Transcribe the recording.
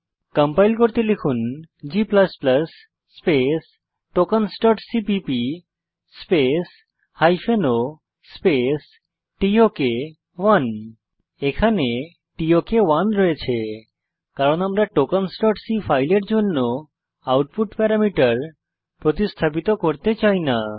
compile করতে লিখুন G space tokensসিপিপি স্পেস ও স্পেস টক 1 এখানে টক 1 আছে কারণ আমরা tokensসি ফাইলের জন্য আউটপুট প্যারামিটার প্রতিস্থাপিত করতে চাই না